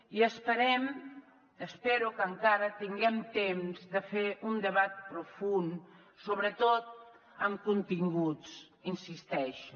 i esperem espero que encara tinguem temps de fer un debat profund sobretot amb continguts hi insisteixo